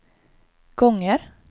gånger